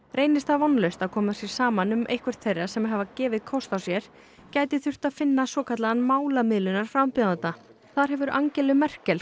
reynist það vonlaust að koma sér saman um eitthvert þeirra sem hafa gefið kost á sér gæti þurft að finna svokallaðan málamiðlunar frambjóðanda þar hefur Angelu Merkel